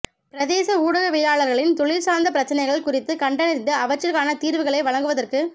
பிரதேச ஊடகவியலாளர்களின் தொழில்சார்ந்த பிரச்சினைகள் குறித்து கண்டறிந்து அவற்றிற்கான தீர்வுகளை வழங்குவதற்கு